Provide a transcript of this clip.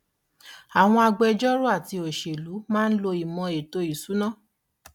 àwọn agbẹ̀jọ́rò àti òṣèlú máa ń lo ìmò ètò ìsúná.